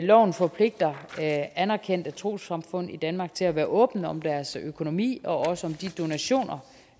loven forpligter anerkendte trossamfund i danmark til at være åbne om deres økonomi og også om de donationer